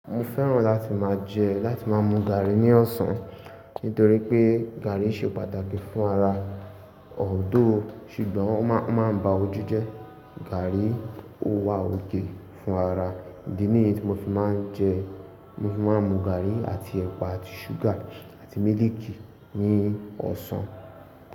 Mo fẹ́ràn láti máa jẹ láti máa mu gàárì ní ọ̀sán nítorí pé gàárì ṣe pàtàkì fún ara although ṣùgbọ́n ó máa bá ojú jẹ. Gàárì ó wà okay fún ara. Ní ìdí ní èyí tí mo fi máa ń jẹ, mo fi máa ń mu gàárì àti ẹ̀pà àti ṣúgà àti mílìkì ní ọ̀sán.